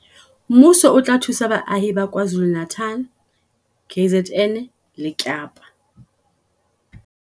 Mmuso o tla thusa baahi ba KwaZulu-Natal, KZN, le Kapa